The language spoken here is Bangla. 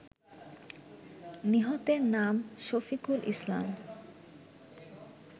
নিহতের নাম শফিকুল ইসলাম